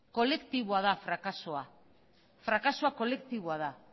kolektiboa da frakasoa frakasoa kolektiboa da